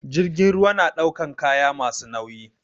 Jirgin ruwa na ɗaukan kaya masu nauyi